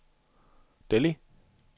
Delhi